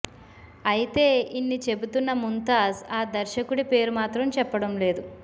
అయితే ఇన్ని చెబుతున్న ముంతాజ్ ఆ దర్శకుడి పేరు మాత్రం చెప్పడం లేదు